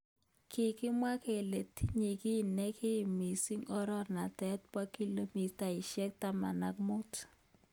Kikimwa kele tinye ki nekim mising oranatak bo kilomitaishek taman ak mut.